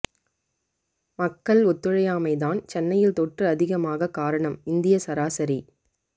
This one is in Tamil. மக்கள் ஒத்துழையாமை தான் சென்னையில் தொற்று அதிகமாக காரணம் இந்திய சராசரி